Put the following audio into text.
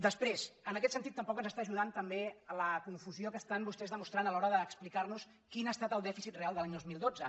després en aquest sentit tampoc ens està ajudant la confusió que estan vostès demostrant a l’hora d’explicar nos quin ha estat el dèficit real de l’any dos mil dotze